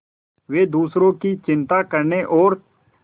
वे दूसरों की चिंता करने और